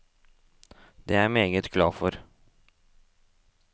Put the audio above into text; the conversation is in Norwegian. Det er jeg meget glad for.